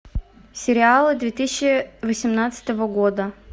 сериалы две тысячи восемнадцатого года